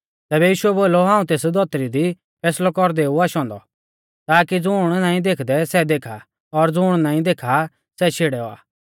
तैबै यीशुऐ बोलौ हाऊं एस धौतरी दी फैसलौ कौरदै ऊ आशौ औन्दौ ताकी ज़ुण नाईं देखदै सै देखा और ज़ुण देखा आ सै शेड़ै औआ